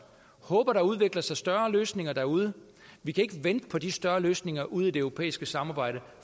og håber at der udvikler sig større løsninger derude vi kan ikke vente på de større løsninger ude i det europæiske samarbejde